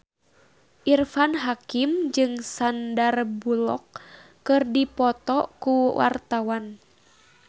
Irfan Hakim jeung Sandar Bullock keur dipoto ku wartawan